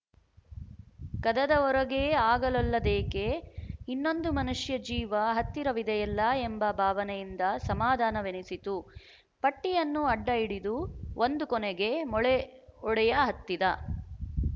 ಕದದ ಹೊರಗೇ ಆಗಲೊಲ್ಲದೇಕೆ ಇನ್ನೊಂದು ಮನುಷ್ಯ ಜೀವ ಹತ್ತಿರವಿದೆಯಲ್ಲ ಎಂಬ ಭಾವನೆಯಿಂದ ಸಮಾಧಾನವೆನಿಸಿತು ಪಟ್ಟಿಯನ್ನು ಅಡ್ಡಹಿಡಿದು ಒಂದು ಕೊನೆಗೆ ಮೊಳೆ ಹೊಡೆಯಹತ್ತಿದ